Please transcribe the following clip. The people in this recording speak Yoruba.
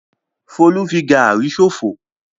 Folú fi gàrí ṣòfò.